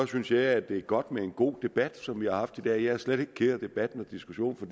synes jeg det er godt med en god debat som vi har haft i dag jeg er slet ikke ked af debatten og diskussionen for